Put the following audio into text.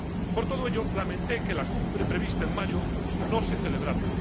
Por todo ello, lamenté que la Cumbre prevista en mayo no se celebrara.